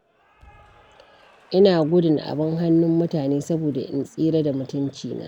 Ina gudun abin hannun mutane, saboda in tsira da mutuncina.